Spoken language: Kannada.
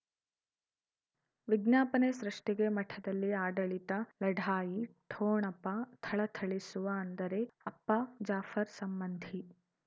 ವಿಜ್ಞಾಪನೆ ಸೃಷ್ಟಿಗೆ ಮಠದಲ್ಲಿ ಆಡಳಿತ ಲಢಾಯಿ ಠೊಣಪ ಥಳಥಳಿಸುವ ಅಂದರೆ ಅಪ್ಪ ಜಾಫರ್ ಸಂಬಂಧಿ